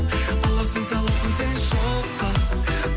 аласың саласың сен шоққа